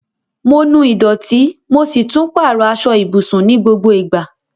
Mo nu ìdọ̀tí, mo si tun pàrọ aso ibùsùn ni gbogbo ìgbà